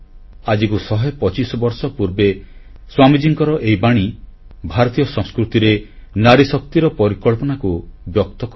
ଆଜିକୁ ଶହେ ପଚିଶ ବର୍ଷ ପୂର୍ବେ ସ୍ୱାମୀଜୀଙ୍କର ଏହି ବାଣୀ ଭାରତୀୟ ସଂସ୍କୃତିରେ ନାରୀଶକ୍ତିର ପରିକଳ୍ପନାକୁ ବ୍ୟକ୍ତ କରିଥାଏ